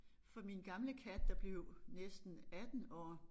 For min gamle kat der blev næsten 18 år